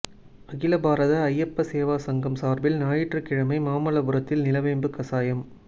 அகில பாரத ஐயப்ப சேவா சங்கம் சாா்பில் ஞாயிற்றுக்கிழமை மாமல்லபுரத்தில் நிலவேம்பு கசாயம்